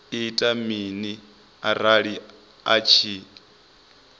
ita mini arali a tshi